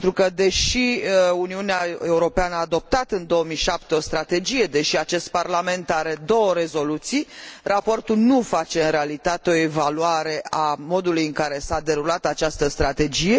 Deși Uniunea Europeană a adoptat în 2007 o strategie, deși acest Parlament are două rezoluții, raportul nu face în realitate o evaluare a modului în care s a derulat această strategie